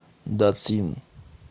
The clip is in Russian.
дацин